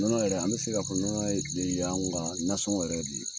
Nɔnɔ yɛrɛ an be se ka fɔ nɔnɔ ye anw ka nasɔngɔ yɛrɛ de ye